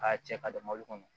K'a cɛ ka don mɔbili kɔnɔ